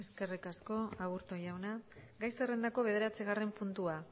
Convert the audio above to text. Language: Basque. eskerrik asko aburto jauna gai zerrendako bederatzigarren puntua